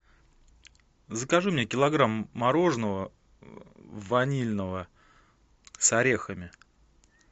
закажи мне килограмм мороженого ванильного с орехами